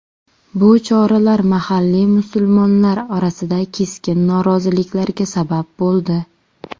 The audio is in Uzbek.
Bu choralar mahalliy musulmonlar orasida keskin noroziliklarga sabab bo‘ldi.